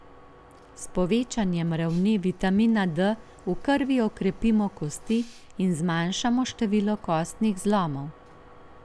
S povečanjem ravni vitamina D v krvi okrepimo kosti in zmanjšamo število kostnih zlomov.